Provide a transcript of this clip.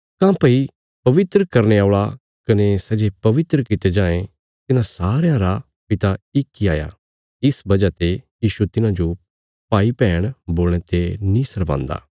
काँह्भई पवित्र करने औल़ा कने सै जे पवित्र कित्ते जायें तिन्हां सारयां रा पिता इक इ हाया इस वजह ते यीशु तिन्हांजो भाईभैण बोलणे ते नीं शर्मान्दा